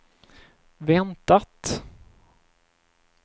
väntat